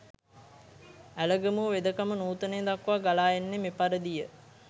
ඇලගමුව වෙදකම නූතනය දක්වා ගලා එන්නේ මෙපරිදිය